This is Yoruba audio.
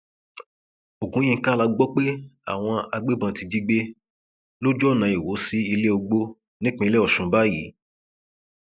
ogunyinka la gbọ pé àwọn agbébọn ti jí gbé lójú ọnà iwọ sí iléògbò nípínlẹ ọsùn báyìí